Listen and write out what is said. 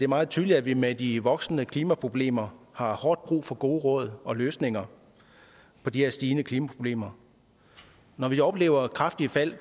meget tydeligt at vi med de voksende klimaproblemer har hårdt brug for gode råd og for løsninger på de her stigende klimaproblemer når vi oplever kraftige fald